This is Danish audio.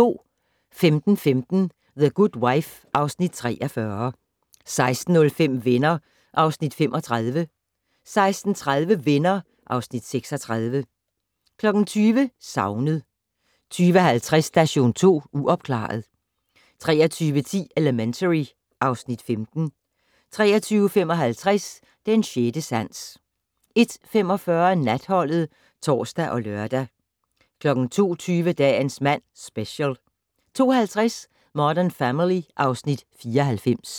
15:15: The Good Wife (Afs. 43) 16:05: Venner (Afs. 35) 16:30: Venner (Afs. 36) 20:00: Savnet 20:50: Station 2 Uopklaret 23:10: Elementary (Afs. 15) 23:55: Den sjette sans 01:45: Natholdet (tor og lør) 02:20: Dagens mand - Special 02:50: Modern Family (Afs. 94)